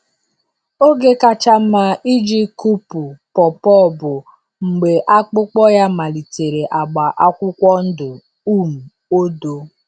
Oge kacha mma iji kụpu pawpaw bụ mgbe akpụkpọ ya malitere agba akwụkwọ ndụ um odo.